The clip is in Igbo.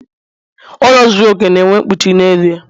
Ụlọ zuru okè na-enwe mkpuchi n'elu ya